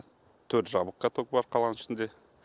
төрт жабық каток бар қаланың ішінде